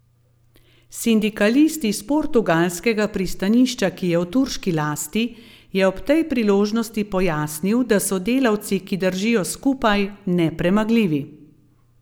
Sindikalist iz portugalskega pristanišča, ki je v turški lasti, je ob tej priložnosti pojasnil, da so delavci, ki držijo skupaj, nepremagljivi.